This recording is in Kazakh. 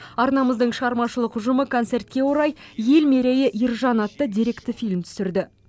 арнамыздың шығармашылық ұжымы концертке орай ел мерейі ержан атты деректі фильм түсірді